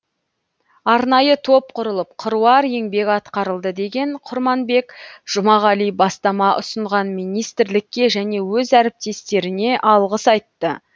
арнайы топ құрылып қыруар еңбек атқарылды деген құрманбек жұмағали бастама ұсынған министрлікке және өз әріптестеріне алғыс айтты